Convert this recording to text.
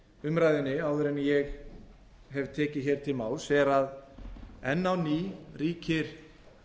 umræðunni áður en ég hef tekið hér til máls er að enn á ný ríkir